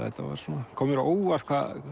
kom mér á óvart